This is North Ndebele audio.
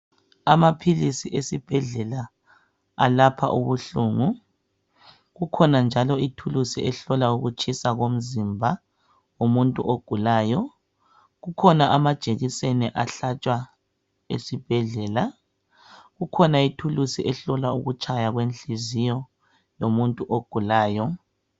Amaphilisi esibhedlela alapha ubuhlungu, kukhona njalo ithulusi ehlola ukutshisa komzimba womuntu ogulayo. Kukhona amajekiseni ahlatshwa ezibhedlela, kukhona ithulusi ehlola ukutshaya kwenhliziyo yomuntu ogulayo.